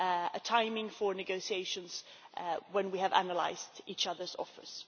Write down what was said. a timing for negotiations when we have analysed each other's offers.